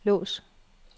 lås